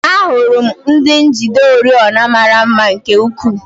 Ahụrụ m ndị njide oriọna mara mma nke ukwuu.